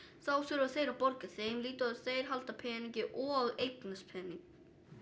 þá þurfa þeir að borga þeim lítið og halda peningi og eignast pening